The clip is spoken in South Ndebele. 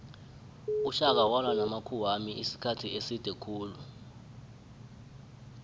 ushaka walwa namakhuwamisikhathi eside khulu